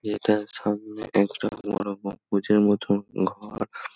এটার সামনে একটা বড়ো গম্বুজের মত ঘর ।